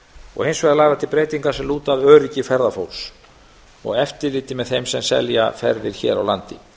og hins vegar lagðar til breytingar sem lúta að eftirliti með þeim sem selja ferðir hér á landi